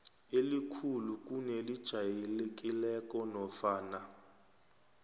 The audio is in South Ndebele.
elikhulu kunelijayelekileko nofana